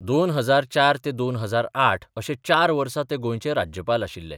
2004 ते 2008 अशे चार वर्सा ते गोंयचे राज्यपाल आशिल्ले.